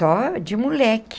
Só de moleque.